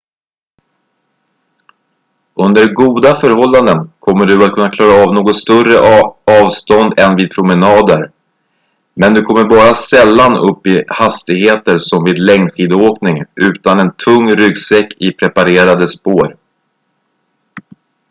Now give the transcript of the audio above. under goda förhållanden kommer du att kunna klara av något större avstånd än vid promenader men du kommer bara sällan upp i hastigheter som vid längdskidåkning utan en tung ryggsäck i preparerade spår